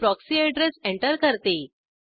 मी proxy address enter करते